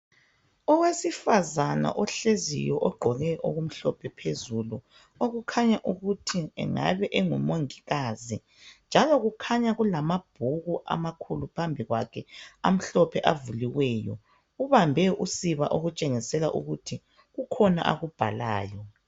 Owesifazana ohleziyo ogqoke okumhlophe phezulu okukhanya ukuthi engabe engumongikazi njalo kukhanya kulamabhuku amakhulu phambi kwakhe amhlophe avulileyo ubambe usiba okutshengisela ukuthi kukhona ukubhalayo.